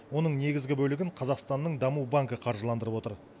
оның негізгі бөлігін қазақстанның даму банкі қаржыландырып отыр